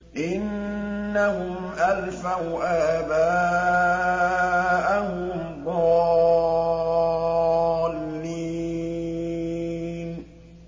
إِنَّهُمْ أَلْفَوْا آبَاءَهُمْ ضَالِّينَ